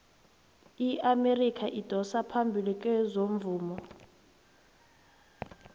iamerika idosa phambili kezomvumo